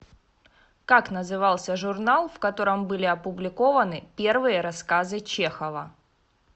как назывался журнал в котором были опубликованы первые рассказы чехова